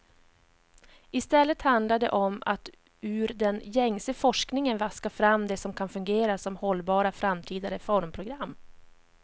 I stället handlar det om att ur den gängse forskningen vaska fram det som kan fungera som hållbara framtida reformprogram.